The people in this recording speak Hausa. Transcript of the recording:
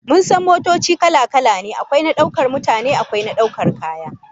Mun san motoci kala-kala ne, akwai na daukar mutane akwai na daukar kaya